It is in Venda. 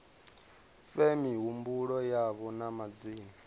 fhe mihumbulo yavho na madzina